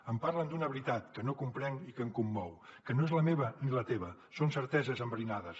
em parlen d’una veritat que no comprenc i que em commou que no és la meva ni la teva són certeses enverinades